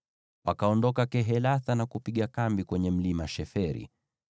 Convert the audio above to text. Wakaondoka Kehelatha na kupiga kambi kwenye mlima Sheferi.